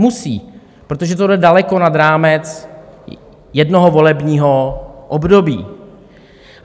Musí, protože to jde daleko nad rámec jednoho volebního období.